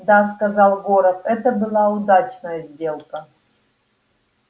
да сказал горов это была удачная сделка